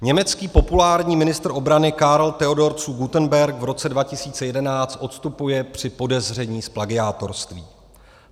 Německý populární ministr obrany Karl Theodor zu Guttenberg v roce 2011 odstupuje při podezření z plagiátorství.